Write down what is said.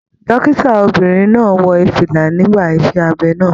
Dókítà obìnrin náà wọ fìlà nígbà iṣẹ abẹ náà.